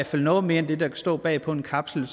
fald noget mere end der kan stå bag på en kapsel